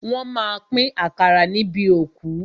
Wọ́n má a pín àkàrà níbi òkú.